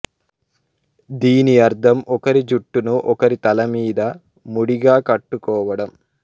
దీని అర్థం ఒకరి జుట్టును ఒకరి తల మీద ముడిగా కట్టుకోవడం